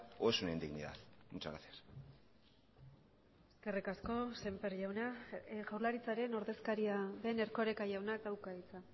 o es una indignidad muchas gracias eskerrik asko sémper jauna jaurlaritzaren ordezkaria den erkoreka jaunak dauka hitza